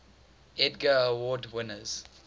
edgar award winners